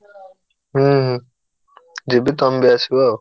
ହୁଁ ହୁଁ ଯିବି ତମେ ବି ଆସିବ ଆଉ।